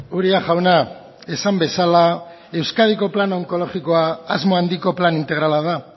uria jauna esan bezala euskadiko plan onkologikoa asmo handiko plan integrala da